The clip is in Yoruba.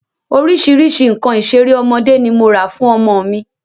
Orísìírísìí nǹkan ìṣeré ọmọdé ni mo rà fún ọmọ mi